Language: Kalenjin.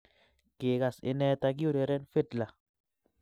Kigas inee takiureren fidla